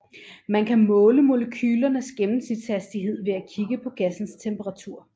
Man kan måle molekylernes gennemsnitshastighed ved at kigge på gassens temperatur